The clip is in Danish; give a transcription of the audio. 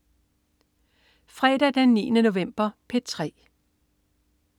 Fredag den 9. november - P3: